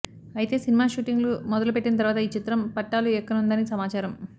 అయితే cinema shooting లు మొదలు పెట్టిన తరువాత ఈ చిత్రం పట్టాలు ఎక్కనుందని సమాచారం